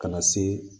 Ka na se